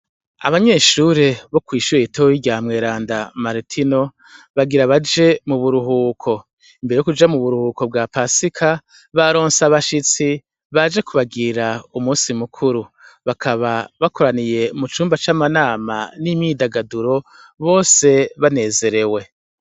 Abanyeshure bo kwishuri ritoyi rya mweranda martino bagira baje mu buruhuko imbere yo kuja mu buruhuko bwa pasika ba ronse abashitsi baje kubagira umusi mukuru bakaba bakoraniye mu cumba c'amanama n'imyidagaduro bose banezerewe.